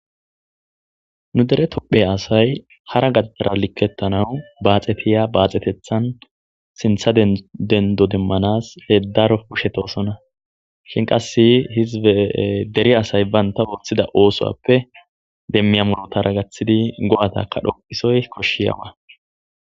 Nu dere tophe asay hara gaadara likkettanawu baaxetiya baaxetethan sintha dendo demmanas hedaro pushetosona shin qasse hize deri asay baynta worthida oosoppe demmiya murotara gaththidi go'ataka dhoqisoy koshshi yawa.